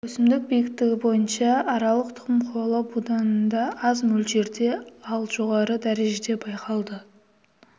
өсімдік биіктігі бойынша аралық тұқым қуалау буданында аз мөлшерде ал жоғары дәрежеде байқалды